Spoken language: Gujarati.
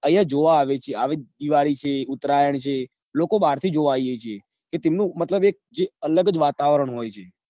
અહિયાં જોવા આવે છે આવી દિવાળી છે ઉતરાયણ છે લોકો બાર થી જોવા આવે છે એ તેમનું મતલબ એક જે અલગ જ વાતાવરણ હોય છે